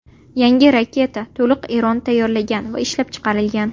Yangi raketa to‘liq Eronda tayyorlangan va ishlab chiqilgan.